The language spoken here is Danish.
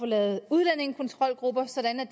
lave udlændingekontrolgrupper sådan at